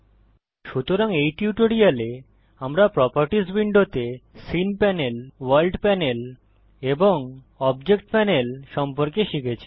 সুতরাং এই টিউটোরিয়ালে আমরা প্রোপার্টিস উইন্ডোতে সিন পানেল ভোর্ল্ড পানেল এবং অবজেক্ট পানেল সম্পর্কে শিখেছি